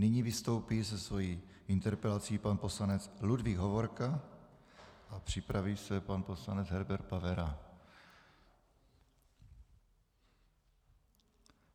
Nyní vystoupí se svojí interpelací pan poslanec Ludvík Hovorka a připraví se pan poslanec Herbert Pavera.